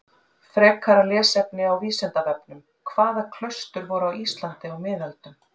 Frekara lesefni á Vísindavefnum: Hvaða klaustur voru á Íslandi á miðöldum?